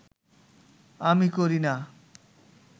আমি করি না